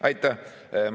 Aitäh!